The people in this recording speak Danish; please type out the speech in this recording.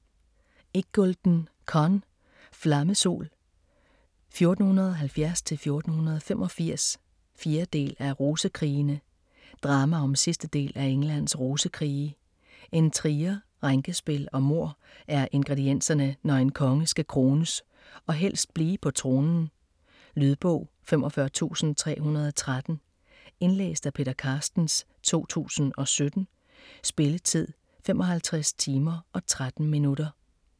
Iggulden, Conn: Flammesol: 1470-1485 4. del af Rosekrigene. Drama om sidste del af Englands Rosekrige. Intriger, rænkespil og mord er ingredienserne, når en konge skal krones - og helst blive på tronen. Lydbog 45313 Indlæst af Peter Carstens, 2017. Spilletid: 55 timer, 13 minutter.